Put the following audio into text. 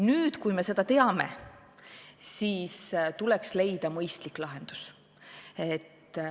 Nüüd, kui me seda teame, tuleks leida mõistlik lahendus.